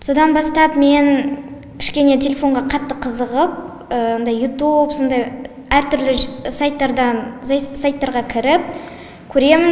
содан бастап мен кішкене телефонға қатты қызығып мынадай ютуб сондай әртүрлі сайттардан сайттарға кіріп көремін